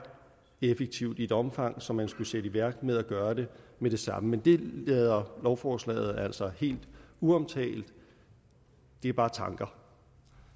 effektivt i et omfang så man skulle sætte det i værk og gøre det med det samme men det lader lovforslaget altså helt uomtalt det er bare tanker